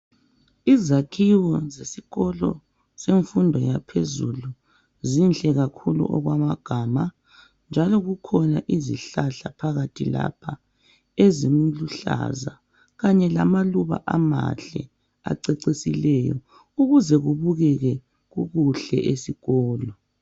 Izakhiwo zesikolo semfundo yaphezulu zinhle kakhulu okwamagama njalo kukhona izihlahla phakathi lapha eziluhlaza kanye lamaluba amahle acecisileyo ukuze kubukeke kukuhle esikolo.